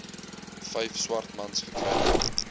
vyf swartmans gery